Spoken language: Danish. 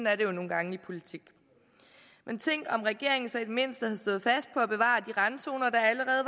er det jo nogle gange i politik men tænk om regeringen så i det mindste havde stået fast på at bevare de randzoner der allerede